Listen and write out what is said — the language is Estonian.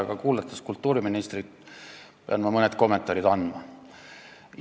Aga olles kuulanud kultuuriministrit, pean ma mõned kommentaarid tegema.